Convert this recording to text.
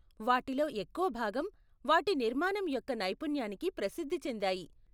వాటిలో ఎక్కువ భాగం వాటి నిర్మాణం యొక్క నైపుణ్యానికి ప్రసిద్ధి చెందాయి.